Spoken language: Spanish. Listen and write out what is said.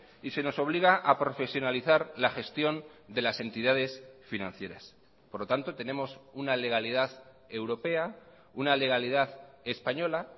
y se nos obliga a profesionalizar la gestión de las entidades financieras por lo tanto tenemos una legalidad europea una legalidad española